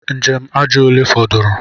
Njem aja ole fọdụrụ?